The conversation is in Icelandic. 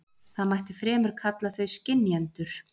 Það mætti fremur kalla þau skynjendur.